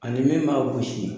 Ani min b'a gosi.